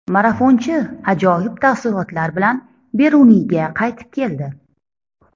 Marafonchi ajoyib taassurotlar bilan Beruniyga qaytib keldi.